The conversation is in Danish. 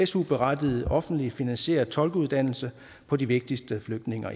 su berettiget offentligt finansieret tolkeuddannelse på de vigtigste flygtninge og